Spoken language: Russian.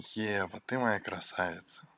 ева ты моя красавица